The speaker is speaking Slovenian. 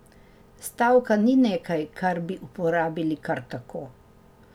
Stavka ni nekaj, kar bi uporabili kar tako.